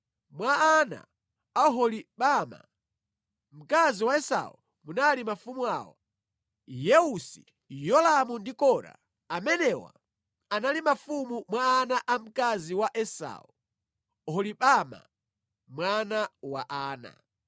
Mwa ana a Oholibama, mkazi wa Esau munali mafumu awa: Yeusi, Yolamu, ndi Kora. Amenewa anali mafumu mwa ana a mkazi wa Esau, Oholibama, mwana wa Ana.